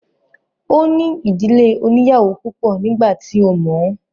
Ó ní ìdílé oníyàwó púpọ̀ nígbà tí ó mọ̀ ọ́n